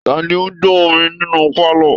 Ta ni ó ń gbọ orin nínú pálọ̀